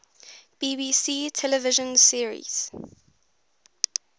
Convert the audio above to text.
bbc television series